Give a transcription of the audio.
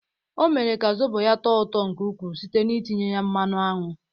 Ọ mere ka zobo ya tọọ ụtọ nke ukwuu site n'itinye ya mmanụ aṅụ.